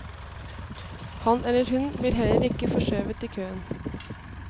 Han eller hun blir heller ikke forskjøvet i køen.